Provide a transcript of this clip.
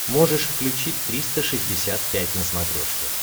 можешь включить триста шестьдесят пять на смотрешке